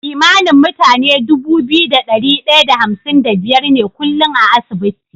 Kimanin mutane Dubu biyu da dari daya da hamsin da biyar ne kullun a asibiti